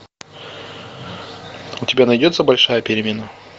у тебя найдется большая перемена